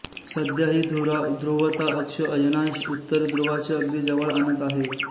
सध्याही धुरा ध्रुव ता अक्ष अयनांश उत्तर ध्रुवाच्या अगदी जवळ आणत आहे